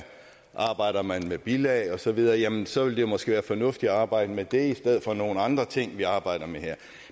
arbejder man med bilag og så videre jamen så ville det måske være fornuftigt at arbejde med det i stedet for nogle andre ting vi arbejder med her